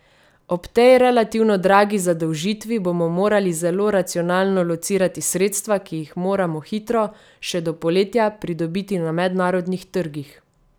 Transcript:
Ob tej relativno dragi zadolžitvi bomo morali zelo racionalno locirati sredstva, ki jih moramo hitro, še do poletja, pridobiti na mednarodnih trgih.